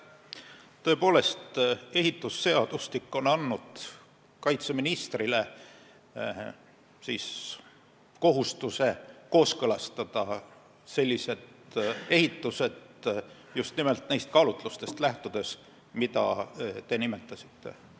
Tõepoolest, ehitusseadustik on pannud kaitseministrile kohustuse kooskõlastada sellised ehitused just nimelt neist kaalutlustest lähtudes, mida te nimetasite.